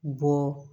Bɔ